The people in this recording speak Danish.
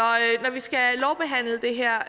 når vi skal